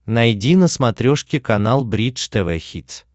найди на смотрешке канал бридж тв хитс